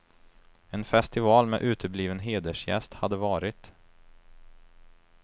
En festival med utebliven hedersgäst hade varit.